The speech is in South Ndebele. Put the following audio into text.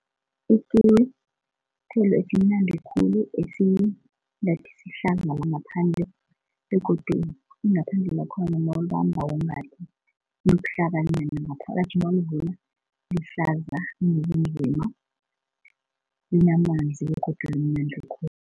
Ikiwi sithelo esimnandi khulu esingathi sihlaza langaphandle begodu ingaphandle lakhona nawulibambako ngathi libuhlabani ngaphakathi nawulivula lihlaza linamanzi begodu limnandi